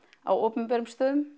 á opinberum stöðum